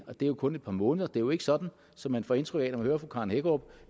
og det er jo kun et par måneder det er jo ikke sådan som man får indtryk af når man hører fru karen hækkerup